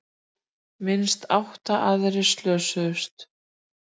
Minnst átta aðrir slösuðust